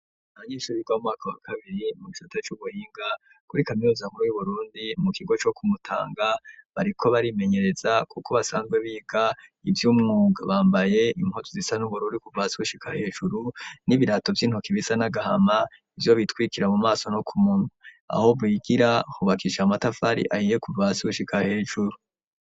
Abanyeshuri biga mu mwaka wa kabiri mu gisata c'ubuhinga kuri kaminuza nkuru y'Uburundi mu kigo co ku Mutanga, bariko barimenyereza kuko basanzwe biga ivy'umwuga bambaye impuzu zisa n'ubururu kuva hasi gushika hejuru n'ibirato vy'intoki bisa n'agahama, ivyo bitwikira mu maso no ku munwa, aho bigira hubakishije amatafari ahiye kuva hasi gushika hejuru.